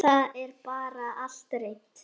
Það er bara allt reynt.